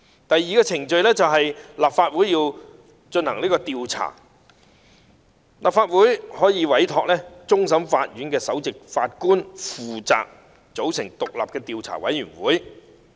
第二，經立法會通過進行調查，立法會可委托終審法院首席法官負責組成獨立的調查委員會。